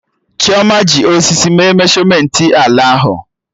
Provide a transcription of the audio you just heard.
Chioma ji osisi mee meshọmentị ala ahụ